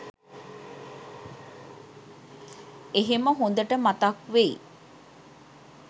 එහෙම හොදට මතක් වෙයි.